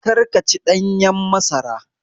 Kar ka ci ɗanyen masara